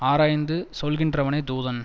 ஆராய்ந்து சொல்கின்றவனே தூதன்